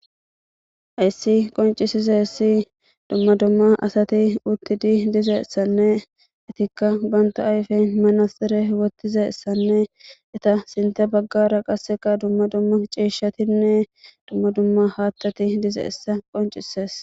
ayssi qoncisizessi dumma dumma asati uttidi dizessanne itikka banta ayfe manasere wottizessanne eta sinte baggara qasseka dumma dumma cieshatinne dumma dumma haattati dizeessa qoncises